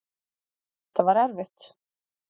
Og þetta var erfitt.